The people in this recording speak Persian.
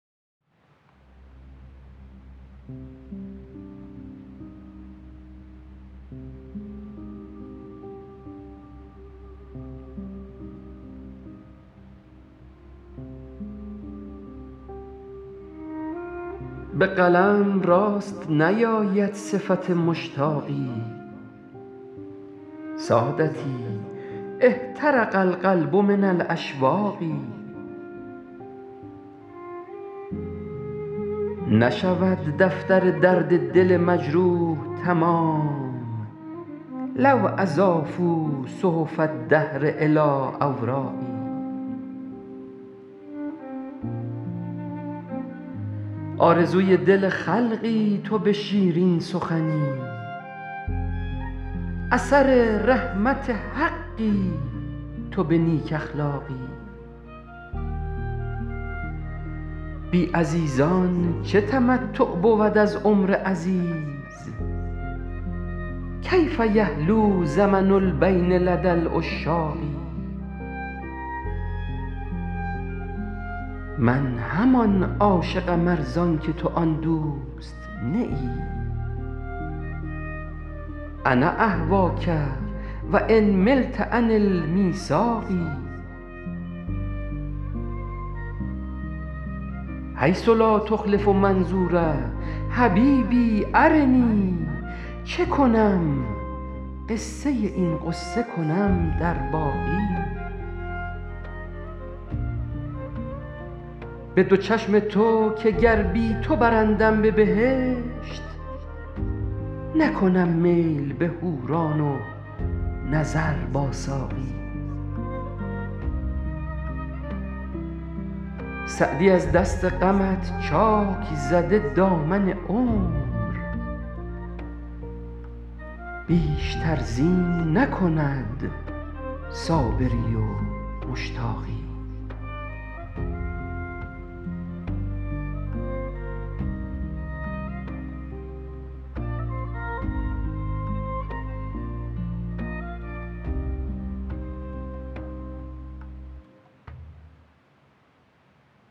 به قلم راست نیاید صفت مشتاقی سادتی احترق القلب من الاشواق نشود دفتر درد دل مجروح تمام لو اضافوا صحف الدهر الی اوراقی آرزوی دل خلقی تو به شیرین سخنی اثر رحمت حقی تو به نیک اخلاقی بی عزیزان چه تمتع بود از عمر عزیز کیف یحلو زمن البین لدی العشاق من همان عاشقم ار زان که تو آن دوست نه ای انا اهواک و ان ملت عن المیثاق حیث لا تخلف منظور حبیبی ارنی چه کنم قصه این غصه کنم در باقی به دو چشم تو که گر بی تو برندم به بهشت نکنم میل به حوران و نظر با ساقی سعدی از دست غمت چاک زده دامن عمر بیشتر زین نکند صابری و مشتاقی